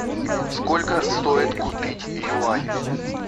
сколько стоит купить юань